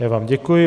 Já vám děkuji.